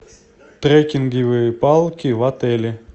трекинговые палки в отеле